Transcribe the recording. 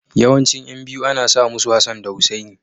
Yawancin ƴan biyu ana sa musu Hassan da Hussaini.